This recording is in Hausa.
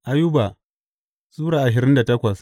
Ayuba Sura ashirin da takwas